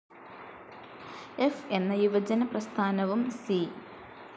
ഫ്‌ എന്ന യുവജന പ്രസ്ഥാനവും സി.